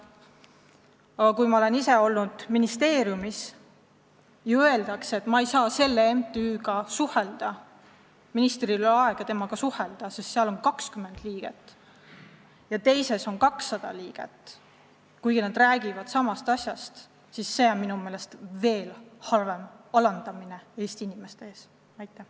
Aga kui ma olen ise olnud ministeeriumis ja mulle öeldakse, et ministril ei ole aega selle MTÜ-ga suhelda, sest seal on 20 liiget, aga teises on 200 liiget – mõlemad räägivad seejuures samast asjast –, siis see on minu meelest veel halvem Eesti inimeste alandamine.